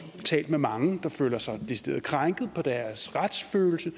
talt med mange der føler sig decideret krænket på deres retsfølelse